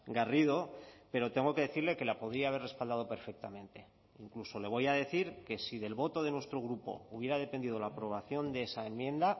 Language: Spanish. garrido pero tengo que decirle que la podía haber respaldado perfectamente incluso le voy a decir que si del voto de nuestro grupo hubiera dependido la aprobación de esa enmienda